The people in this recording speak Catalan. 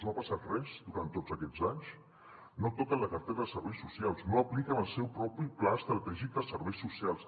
no ha passat res durant tots aquests anys no toquen la cartera de serveis socials no apliquen el seu propi pla estratègic de serveis socials